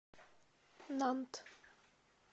нант